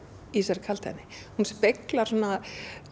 í þessari kaldhæðni hún speglar svona